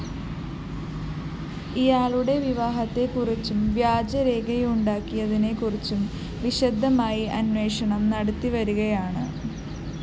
ഇയാളുടെ വിവാഹത്തെക്കുറിച്ചും വ്യാജ രേഖയുണ്ടാക്കിയതിനെക്കുറിച്ചും വിശദമായി അന്വേഷണം നടത്തിവരികയാണ്